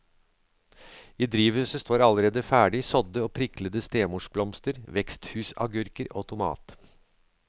I drivhuset står allerede ferdig sådde og priklede stemorsblomster, veksthusagurker og tomat.